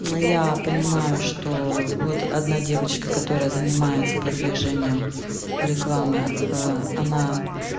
но я понимаю что вот одна девочка которая занимается продвижением рекламой она